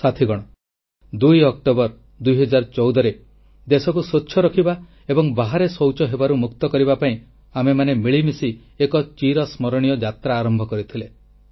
ସାଥୀଗଣ 2 October 2 014ରେ ଦେଶକୁ ସ୍ୱଚ୍ଛ ରଖିବା ଏବଂ ଖୋଲାଶୌଚ ମୁକ୍ତ କରିବା ପାଇଁ ଆମେମାନେ ମିଳିମିଶି ଏକ ଚିର ସ୍ମରଣୀୟ ଯାତ୍ରା ଆରମ୍ଭ କରିଥିଲେ